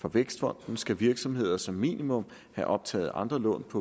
fra vækstfonden skal virksomheder som minimum have optaget andre lån på